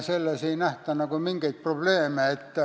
Selles ei nähta nagu mingit probleemi.